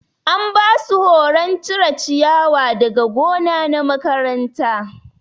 An basu horon cire ciyawa daga gona na makaranta.